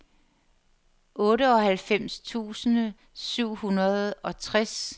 otteoghalvfems tusind syv hundrede og tres